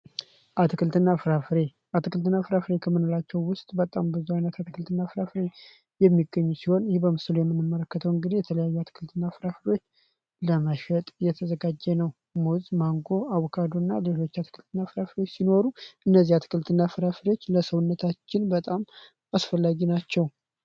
አትክልትና ፍራፍሬ ክምንላቸው ውስጥ በጣም ብዙ አይነት አትክልትና ፍራፍሬ የሚገኙ ሲሆን ይህ በምስሉ የምንመረከተውን ግዲ የተለያዩ አትክልትና ፍራፍሎች ለመሸጥ የተዘጋጀ ነው ሞዝ ማንጎ አቡካዶ እና ሌቶች አትክልትና ፍራፍሬዎች ሲኖሩ እነዚህ አትክልትና ፍራፍሬዎች ለሰውነታችን በጣም አስፈላጊ ናቸው።